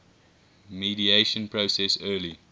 mediation process early